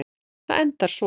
Það endar svona